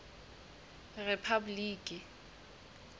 rephaboliki